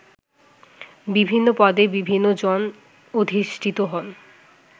বিভিন্ন পদে বিভিন্ন জন অধিষ্ঠিত হন